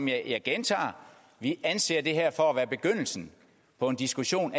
jeg gentager at vi anser det her for at være begyndelsen på en diskussion